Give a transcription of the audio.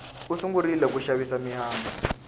u sungurile ku xavisa mihandzu